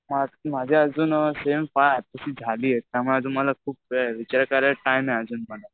माझी अजून त्यामुळे मला वेळ आहे विचार करायला खूप टाइम आहे मला.